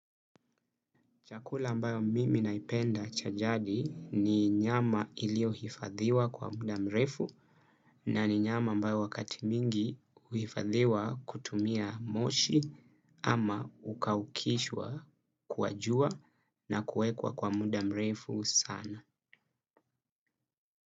Chakula ambayo mimi naipenda cha jadi ni nyama iliyo hifadhiwa kwa muda mrefu, na ni nyama ambayo wakati mingi huhifadhiwa kutumia moshi, ama hukaukishwa kwa jua na kuwekwa kwa muda mrefu sana.